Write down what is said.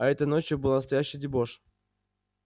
а этой ночью был настоящий дебош